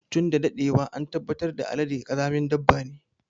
Tun da daɗewa an tabbatar da Alade ƙazamin dabba ne.